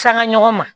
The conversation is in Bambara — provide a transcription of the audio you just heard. Sanga ɲɔgɔn ma